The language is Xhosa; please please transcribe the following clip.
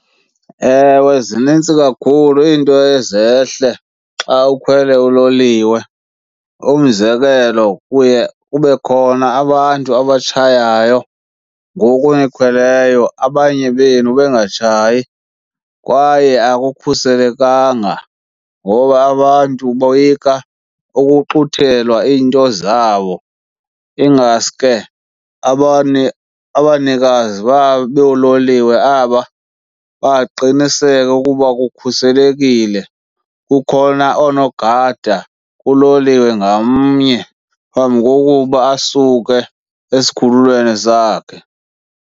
Ewe, zinintsi kakhulu iinto ezehle xa ukhwele uloliwe. Umzekelo, kuye kube khona abantu abatshayayo ngoku nikhweleyo abanye benu bengatshayi kwaye akukhuselekanga ngoba abantu boyika ukuxuthelwa iinto zabo. Ingaske abanikazi boololiwe aba baqiniseke ukuba kukhuselekile, kukhona oonogada kuloliwe ngamnye phambi kokuba asuke esikhululweni sakhe.